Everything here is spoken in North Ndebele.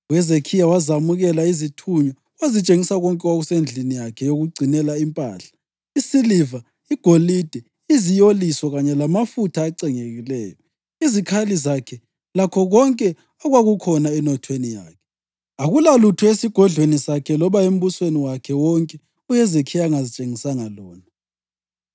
UHezekhiya wazamukela izithunywa wazitshengisa konke okwakusendlini yakhe yokugcinela impahla, isiliva, igolide, iziyoliso kanye lamafutha acengekileyo, izikhali zakhe lakho konke okwakukhona enothweni yakhe. Akulalutho esigodlweni sakhe loba embusweni wakhe wonke uHezekhiya angazitshengisanga lona.